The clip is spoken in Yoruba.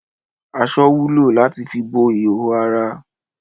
Aṣọ wúlò láti fi bo ihòhò ara.